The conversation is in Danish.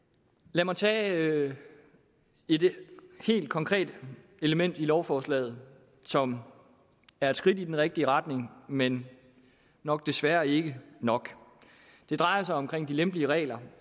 lad mig tage et helt konkret element i lovforslaget som er et skridt i den rigtige retning men nok desværre ikke nok det drejer sig om de lempeligere regler